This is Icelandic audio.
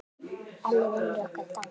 Elli vinur okkar er dáinn.